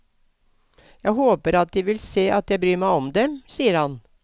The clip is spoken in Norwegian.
Jeg håper at de vil se at jeg bryr meg om dem, sier han.